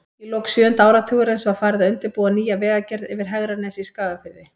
Í lok sjöunda áratugarins var farið að undirbúa nýja vegagerð yfir Hegranes í Skagafirði.